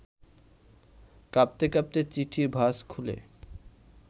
কাঁপতে কাঁপতে চিঠির ভাজ খুলে